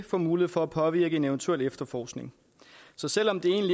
får mulighed for at påvirke en eventuel efterforskning så selv om det